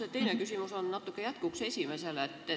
Minu teine küsimus on jätkuks esimesele.